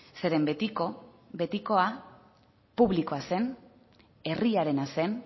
zeren betiko betikoa publikoa zen herriarena zen